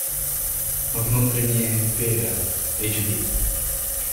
внутренняя империя эйч ди